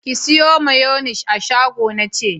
Ki sayo mayonis a shago na ce!